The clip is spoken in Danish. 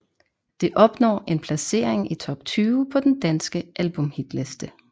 Det opnår en placering i top 20 på den danske albumhitliste